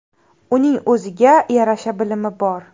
Uning o‘ziga yarasha bilimi bor.